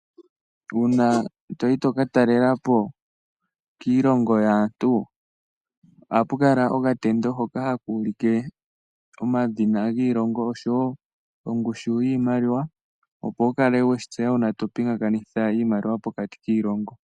Uuna toyi to katalela po kiilongo yaantu ohapu kala okatendo hoka haka ulike omadhina giilongo osho wo ongushu yiimaliwa opo wukale weshi tseya uuna topingakanitha iimaliwa pokati kiilongo.